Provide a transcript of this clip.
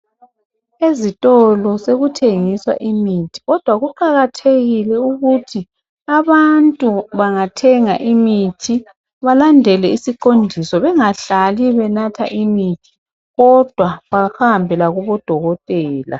Ezitolo sekuthengiswa imithi kodwa kuqakathekile ukuthi abantu bangathenga imithi balandele isiqondiso bengahlali benatha imithi kuphela kodwa behambe lakubodokotela.